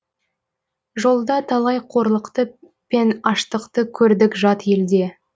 жолда талай қорлықты пен аштықты көрдік жат елде